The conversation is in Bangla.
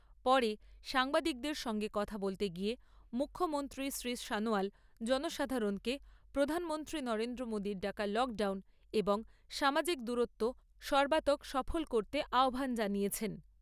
পরে সাংবাদিকদের সঙ্গে কথা বলতে গিয়ে মুখ্যমন্ত্রী শ্রী সনোয়াল জনসাধারণকে প্রধানমন্ত্রী নরেন্দ্র মোদীর ডাকা লকডাউন এবং সামাজিক দূরত্ব সর্বান্তক সফল করতে আহ্বান জানিয়েছেন।